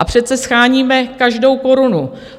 A přece sháníme každou korunu.